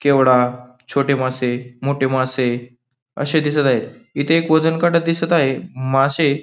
केवडा छोटे मासे मोठे मासे असे दिसत आहे इथे एक वजन काटा दिसत आहे मासे --